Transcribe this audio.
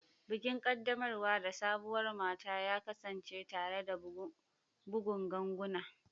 Bikin kaddamar da sabuwar mata ya kasance tare da bugun ganguna.